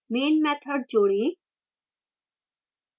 main method जोड़ें